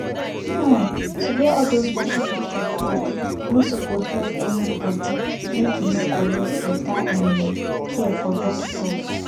um to wear all those worship pipu cloth nor suppose block any bodi make e nor collect beta um care from dockitos